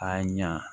A ɲa